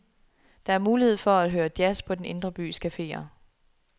Der er mulighed for at høre jazz på den indre bys cafeer.